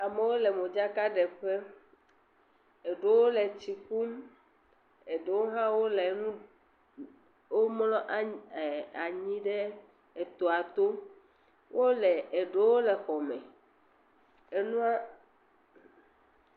amewo le modzaka ɖe ƒe. Ede wo le tsi ƒum ede wo mlɔ anyi ɖe etɔa to. Ede wo le xɔme enua.